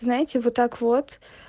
знаете вот так вот